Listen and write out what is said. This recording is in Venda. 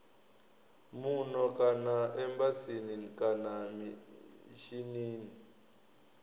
muno kana embasini kana mishinini